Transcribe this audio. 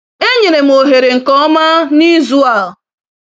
Enyere m ohere nke ọma n'izu a.